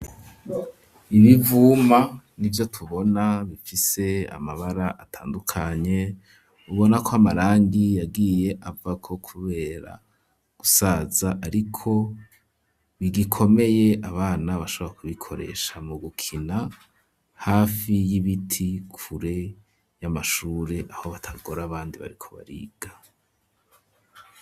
Ibivuma nivyo tubona, bifise amabara atandukanye, ubona ko amarangi yagiye avako kubera gusaza, ariko bigikomeye abana bashobora kubikoresha mu gukina, hafi y'ibiti kure y'amashure aho batagora abandi bariko bariga.